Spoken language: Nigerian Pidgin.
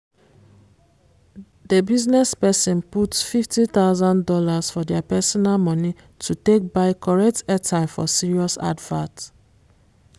the business person put fifty thousand dollars of their personal money to take buy correct airtime for serious advert